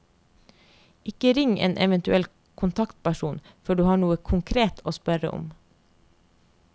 Ikke ring en eventuell kontaktperson før du har noe konkret å spørre om.